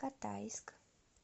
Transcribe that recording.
катайск